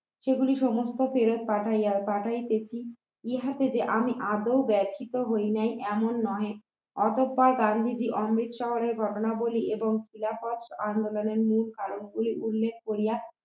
সেগুলো সমস্ত ফেরত পাঠাইয়া পাঠাইতেছি ইহাতে যে আমি আদৌ ব্যথিত হই নাই এমন নয় অগত্য গান্ধীজি অমৃত শহরের ঘটনাগুলি এবং খিলাফত আন্দোলনের মূল কারণ গুলি উল্লেখ করিয়া